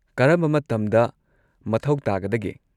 ꯀꯔꯝꯕ ꯃꯇꯝꯗ ꯃꯊꯧ ꯇꯥꯒꯗꯒꯦ?